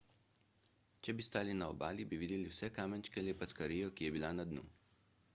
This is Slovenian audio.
če bi stali na obali bi videli vse kamenčke ali packarijo ki je bila na dnu